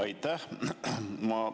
Aitäh!